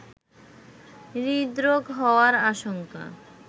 হৃদরোগ হওয়ার আশঙ্ক